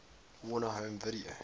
warner home video